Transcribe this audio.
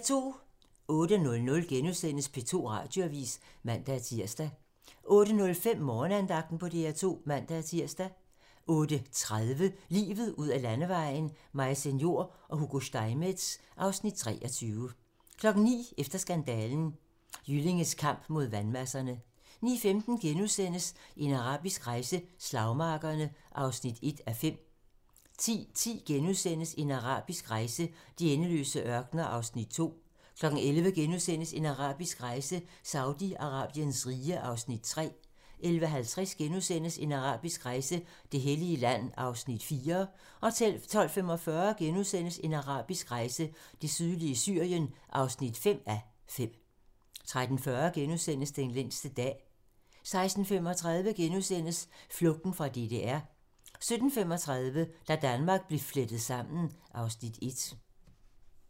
08:00: P2 Radioavis *(man-tir) 08:05: Morgenandagten på DR2 (man-tir) 08:30: Livet ud ad landevejen: Maise Njor og Hugo Steinmetz (Afs. 23) 09:00: Efter skandalen: Jyllinges kamp mod vandmasserne 09:15: En arabisk rejse: Slagmarkerne (1:5)* 10:10: En arabisk rejse: De endeløse ørkener (2:5)* 11:00: En arabisk rejse: Saudi-Arabiens rige (3:5)* 11:50: En arabisk rejse: Det hellige land (4:5)* 12:45: En arabisk rejse: Det sydlige Syrien (5:5)* 13:40: Den længste dag *